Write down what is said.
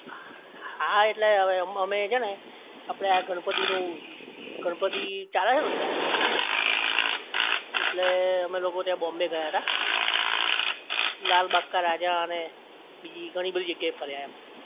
હા એટલે હવે છે ને અમે આપણે આ ગણપતિ નું ગણપતિ ચાલે છે ને અત્યારે એટલે અમે લોકો ત્યાં બોમ્બે ગયા તા લાલબાગ કે રાજા અને બીજી ઘણી બધી જગ્યા એ ફરી આયા એમ